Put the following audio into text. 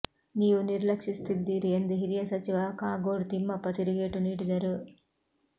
ನೀವು ನಿರ್ಲಕ್ಷಿಸುತ್ತಿದ್ದೀರಿ ಎಂದು ಹಿರಿಯ ಸಚಿವ ಕಾಗೋಡು ತಿಮ್ಮಪ್ಪ ತಿರುಗೇಟು ನೀಡಿದರು